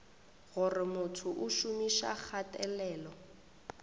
gore motho o šomiša kgatelelo